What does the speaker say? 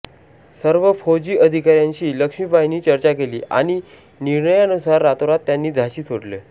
सर्व फौजी अधिकाऱ्यांशी लक्ष्मीबाईंनी चर्चा केली आणि निर्णयानुसार रातोरात त्यांनी झाशी सोडले